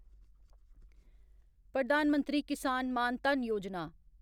प्रधान मंत्री किसान मान धन योजना